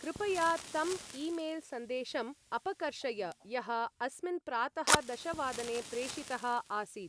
कृपया तम् ई-मेल्.सन्देशम् अपकर्षय यः अस्मिन् प्रातः दशवादने प्रेषितः आसीत्।